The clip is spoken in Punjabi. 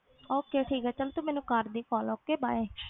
Okay ਠੀਕ ਹੈ ਚੱਲ ਤੂੰ ਮੈਨੂੰ ਕਰ ਦੇਈਂ call okay bye